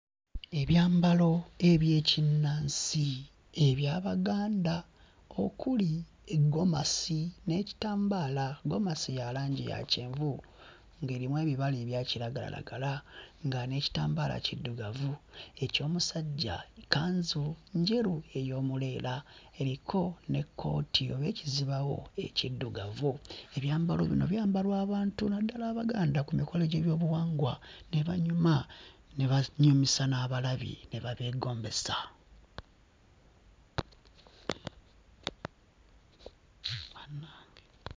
Ebyambalo eby'ekinnansi eby'Abaganda okuli eggomasi n'ekitambaala. Ggomasi ya langi ya kyenvu ng'erimu ebibala ebya kiragalalagala nga n'ekitambaala kiddugavu. Eky'omusajja kkanzu njeru ey'omuleera, eriko n'ekkooti oba ekizibaawo ekiddugavu. Ebyambalo bino byambalwa abantu naddala Abaganda ku mikolo gy'ebyobuwangwa ne banyuma ne banyumisa n'abalabi ne babeegombesa. Bannange!